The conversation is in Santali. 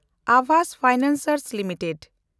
AAVAS financiers limited